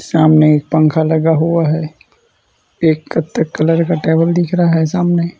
सामने एक पंखा लगा हुआ है एक कथक कलर का टेबल दिख रहा है सामने।